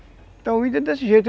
Então o índio é desse jeito.